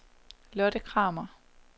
Lotte Kramer